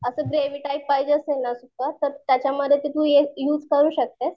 असं gravy type पाहिजे असेल ना सुक्के तर त्याच्यामध्ये तू हे युज करू शकतेस.